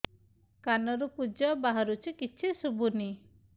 କାନରୁ ପୂଜ ବାହାରୁଛି କିଛି ଶୁଭୁନି